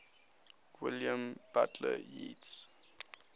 william butler yeats